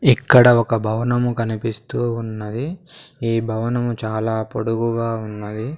ఇక్కడ ఒక భవనము కనిపిస్తూ ఉన్నది ఈ భవనము చాలా పొడువుగా ఉన్నది.